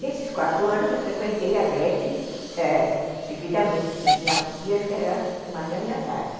Nesses quatro anos, eu frequentei a Glete seguidamente, porque tinha dias que era de manhã e à tarde.